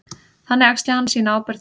Þannig axli hann sína ábyrgð.